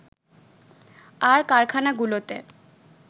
আর কারখানাগুলোতে